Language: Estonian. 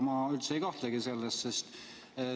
Ma üldse ei kahtlegi selles.